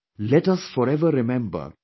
Let us forever remember Dr